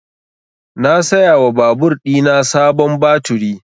Na saya wa babur ɗina sabon baturi